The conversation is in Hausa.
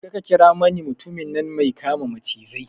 Je ka ka kira mani mutumin nan mai kama macizai